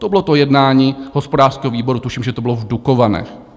To bylo to jednání hospodářského výboru, tuším, že to bylo v Dukovanech.